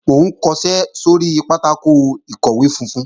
Mò ń kọṣẹ́ sóri pátákò ìkọ̀wé funfun